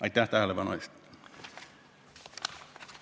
Aitäh tähelepanu eest!